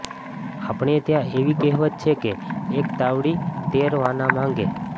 આપણે ત્યાં એવી કહેવત છે કે એક તાવડી તેર વાના માંગે